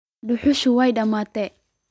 Duxushi way damatay.